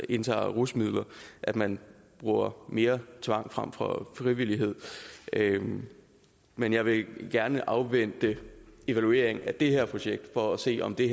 indtager rusmidler at man bruger mere tvang frem for frivillighed men jeg vil gerne afvente evalueringen af det her projekt for at se om det